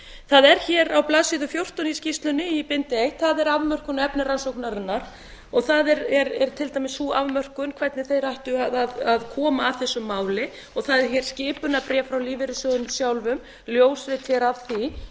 það er hér á blaðsíðu fjórtán í skýrslunni í bindi eitt það er afmörkun á efni rannsóknarinnar það er til dæmis sú afmörkun hvernig þeir ættu að koma að þessu máli og það er hér skipunarbréf frá lífeyrissjóðunum sjálfum ljósrit hér af því